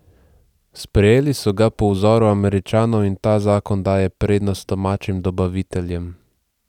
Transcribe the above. Sprejeli so ga po vzoru Američanov in ta zakon daje prednost domačim dobaviteljem.